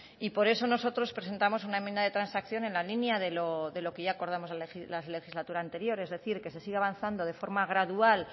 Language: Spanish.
por eso nosotros presentamos una enmienda de transacción en la línea de lo que ya acordamos en la legislatura anterior es decir que se siga avanzando de forma gradual